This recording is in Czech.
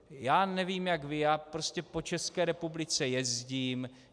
Já nevím jak vy, já prostě po České republice jezdím.